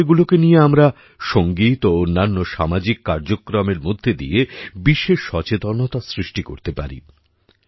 জলাশয়গুলোকে নিয়ে আমরা সঙ্গীত ও অন্যান্য সামাজিক কার্যক্রমের মধ্যে দিয়ে বিশেষ সচেতনতা সৃষ্টি করতে পারি